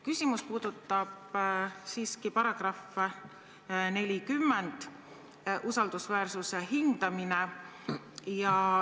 Küsimus puudutab siiski § 40, mis reguleerib usaldusväärsuse hindamist.